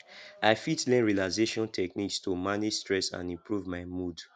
i fit learn relaxation techniques to manage stress and improve my mood